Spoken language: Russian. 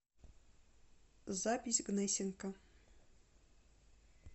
запись гнесинка